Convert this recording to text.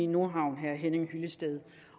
nordhavn station